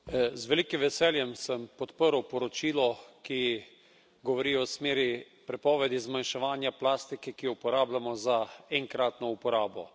Z velikim veseljem sem podprl poročilo, ki govori o smeri prepovedi zmanjševanja plastike, ki jo uporabljamo za enkratno uporabo.